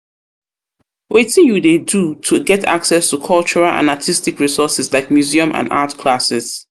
wetin you dey do to get access to cultural and artistic resources like museums and art classes?